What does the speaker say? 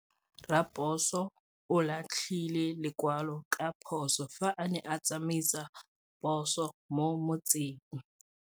Raposo o latlhie lekwalô ka phosô fa a ne a tsamaisa poso mo motseng.